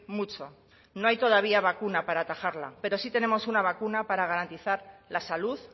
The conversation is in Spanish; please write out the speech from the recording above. mucho no hay todavía vacuna para atajarla pero sí tenemos una vacuna para garantizar la salud